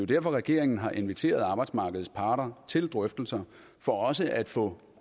derfor regeringen har inviteret arbejdsmarkedets parter til drøftelser for også at få